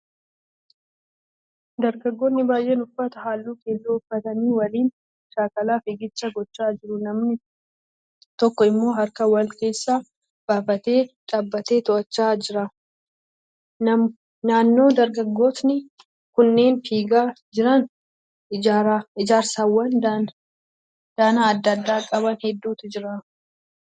Dargaggoonni baay'een uffata halluu keelloo uffatanii waliin shaakala fiigichaa gochaa jiru. Namni tokko immoo harka wal keessa baafatee dhaabbatee to'achaa jira. Naannoo dargaggootni kunneen fiigaa jiran ijaarsawwan danaa adda addaa qaban heddutu jiru.